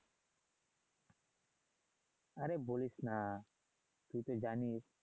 আরে বলিস না তুই তো জানিস